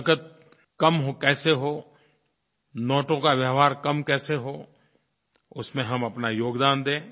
नक़द कम कैसे हो नोटों का व्यवहार कम कैसे हो उसमें हम अपना योगदान दें